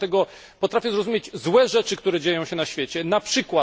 Dlatego potrafię zrozumieć złe rzeczy, które dzieją się na świecie, np.